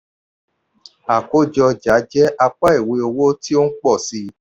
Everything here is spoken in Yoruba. àkójọ ọjà jẹ apá ìwé owó tí ó ń pọ̀ sí i.